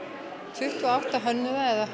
tuttugu og átta hönnuða eða